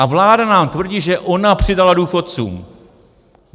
A vláda nám tvrdí, že ona přidala důchodcům.